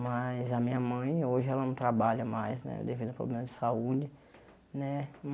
Mas a minha mãe hoje ela não trabalha mais né devido a problema de saúde né.